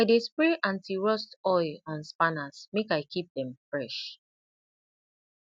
i dey spray antirust oil on spanners make i keep dem fresh